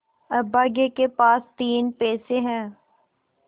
अभागे के पास तीन पैसे है